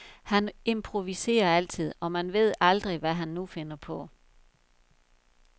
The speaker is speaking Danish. Han improviserer altid, og man ved aldrig, hvad han nu finder på.